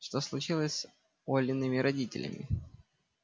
что случилось-то с олиными родителями